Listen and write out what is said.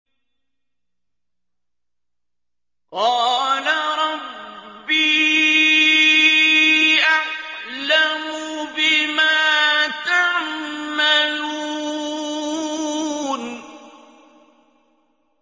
قَالَ رَبِّي أَعْلَمُ بِمَا تَعْمَلُونَ